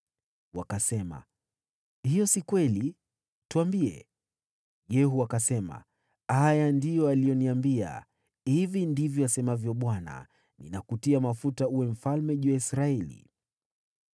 Wakasema, “Hiyo siyo kweli! Tuambie.” Yehu akasema, “Haya ndiyo aliyoniambia: ‘Hivi ndivyo asemavyo Bwana : Ninakutia mafuta uwe mfalme juu ya Israeli.’ ”